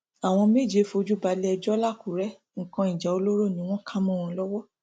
àwọn méje fojú balẹẹjọ làkùrẹ nǹkan ìjà olóró ni wọn ká mọ wọn lọwọ